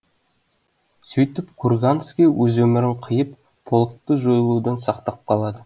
сөйтіп курганский өз өмірін қиып полкты жойылудан сақтап қалады